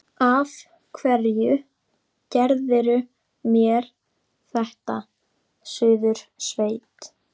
Af hverju gerirðu mér þetta, Suðursveit!